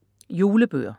Julebøger